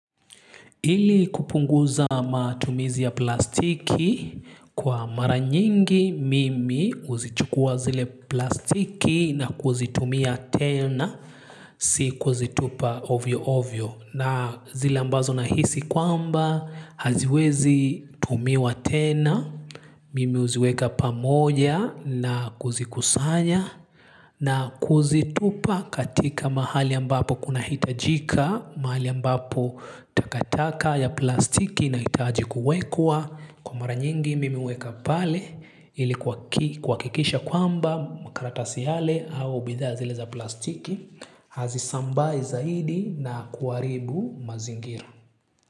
Ili kupunguza matumizi ya plastiki kwa mara nyingi mimi huzichukua zile plastiki na kuzitumia tena si kuzitupa ovyo ovyo. Na zile ambazo nahisi kwamba haziwezi tumiwa tena, mimi huziweka pamoja na kuzikusanya na kuzitupa katika mahali ambapo kunahitajika mahali ambapo takataka ya plastiki inahitaji kuwekwa. Kwa mara nyingi mimi huweka pale ili kuhakikisha kwamba makaratasi yale au bidhaa zile za plastiki hazisambai zaidi na kuharibu mazingira.